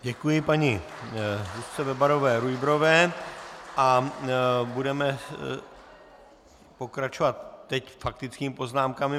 Děkuji paní Zuzce Bebarové-Rujbrové a budeme pokračovat teď faktickými poznámkami.